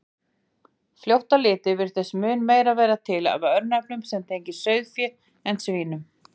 Fljótt á litið virðist mun meira vera til af örnefnum sem tengjast sauðfé en svínum.